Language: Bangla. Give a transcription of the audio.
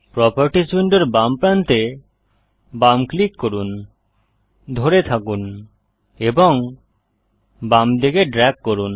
প্রোপার্টিস উইন্ডোর বাম প্রান্তে বাম ক্লিক করুন ধরে থাকুন এবং বামদিকে ড্রেগ করুন